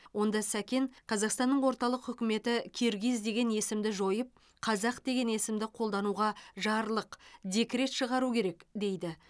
онда сәкен қазақстанның орталық хүкіметі киргиз деген есімді жойып қазақ деген есімді қолдануға жарлық декрет шығару керек дейді